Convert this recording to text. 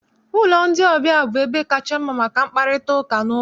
Ụlọ ndị ọbịa bụ ebe kacha mma maka mkparịtaụka n'ụlọ